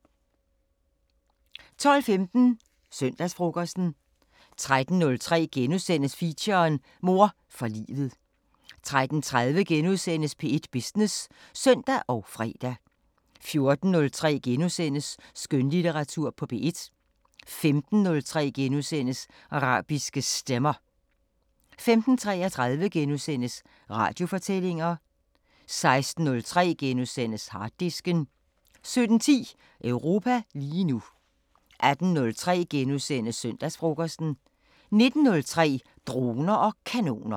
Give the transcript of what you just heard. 12:15: Søndagsfrokosten 13:03: Feature: Mor for livet * 13:30: P1 Business *(søn og fre) 14:03: Skønlitteratur på P1 * 15:03: Arabiske Stemmer * 15:33: Radiofortællinger * 16:03: Harddisken * 17:10: Europa lige nu 18:03: Søndagsfrokosten * 19:03: Droner og kanoner